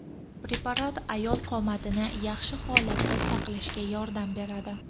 Preparat ayol qomatini yaxshi holatda saqlashda yordam beradi.